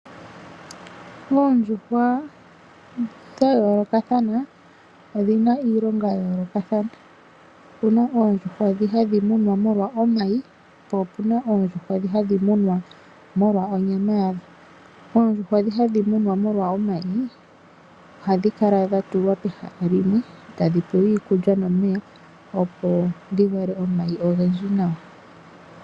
Oondjuhwa dhayoolokathana odhina iilonga ya yolokathana. Opuna oondjuhwa dhi hadhi munwa molwa oomayi. Po opuna oondjuhwa dho hadhi munwa molwa onyama yadho. Oondjuhwa dhi hadhi munwa molwa oomayi ohadhi kala dha tulwa pehala limwe tadhi pewa iikulya nomeya opo dhi vale oomayi ogendji nawa.